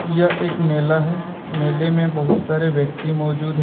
यह एक मेला है मेले में बहुत सारे व्यक्ति मौजूद हैं।